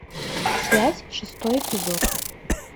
связь шестой эпизод